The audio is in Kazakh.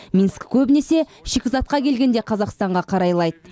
минск көбінесе шикізатқа келгенде қазақстанға қарайлайды